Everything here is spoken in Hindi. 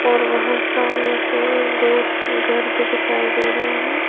और वहां सामने से एक दो घर भी दिखाई दे रहे हैं।